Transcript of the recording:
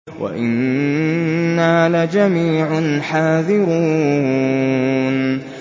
وَإِنَّا لَجَمِيعٌ حَاذِرُونَ